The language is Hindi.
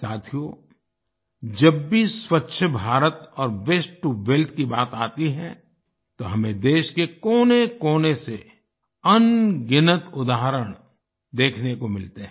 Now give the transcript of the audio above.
साथियो जब भी स्वच्छ भारत और वास्ते टो वेल्थ की बात आती है तो हमें देश के कोनेकोने से अनगिनत उदाहरण देखने को मिलते हैं